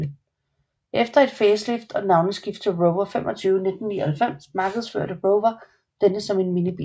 Efter et facelift og navneskift til Rover 25 i 1999 markedsførte Rover denne som en minibil